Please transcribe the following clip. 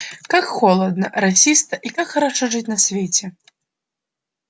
как холодно росисто и как хорошо жить на свете